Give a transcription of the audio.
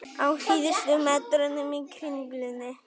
Á síðustu metrunum í Kringlunni